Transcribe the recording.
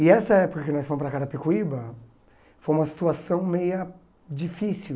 E essa época que nós fomos para Carapicuíba foi uma situação meia difícil.